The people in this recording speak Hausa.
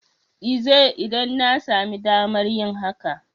l zai, idan an sami damar yin hakan.